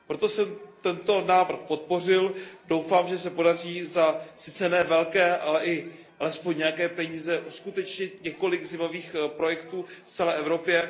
Proto jsem tento návrh podpořil a doufám, že se podaří za sice ne velké, ale alespoň nějaké peníze uskutečnit několik zajímavých projektů v celé Evropě.